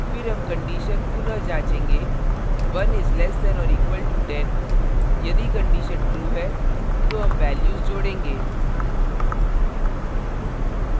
फिर हम condition पुनः जाँचेंगे 1 is less than or equal to 10 यदि condition true है तो हम values जोड़ेंगे